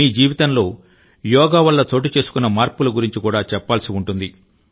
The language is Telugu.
మీ జీవితంలో యోగ వల్ల చోటుచేసుకున్న మార్పుల గురించి కూడా చెప్పాల్సి ఉంటుంది